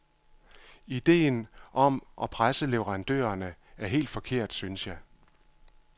Ideen om at presse leverandørerne er helt forkert, synes jeg.